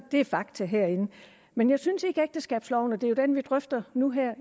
det er fakta herinde men jeg synes ikke at ægteskabsloven og det er jo den vi drøfter nu her